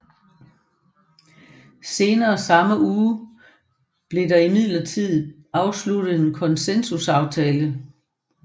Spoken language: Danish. Senere samme uge blev der imidlertid afsluttet en konsensusaftale